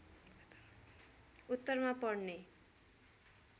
उत्तरमा पर्ने